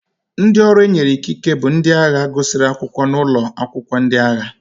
Ndị ọrụ e nyere ikike bụ ndị agha gụsịrị akwụkwọ n'ụlọ akwụkwọ ndị agha.